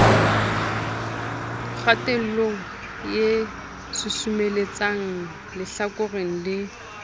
kgatello e susumeletsang lehlakoreng le